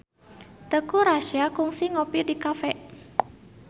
Teuku Rassya kungsi ngopi di cafe